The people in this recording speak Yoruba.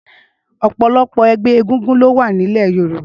Ọpọlọpọ ẹgbẹ égúngún ló wà ni ilẹ̀ yórùbá